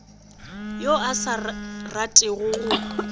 yo a sa ratego go